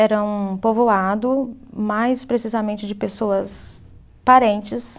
Era um povoado, mais precisamente de pessoas parentes.